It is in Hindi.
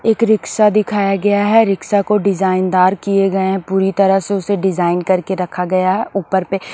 एक रिक्शा दिखाया गया है रिक्शा को डिजाइन दार किए गए हैं पूरी तरह से उसे डिजाइन करके रखा गया है ऊपर पे--